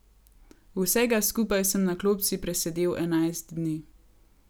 Vsega skupaj sem na klopci presedel enajst dni.